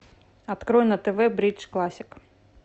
открой на тв бридж классик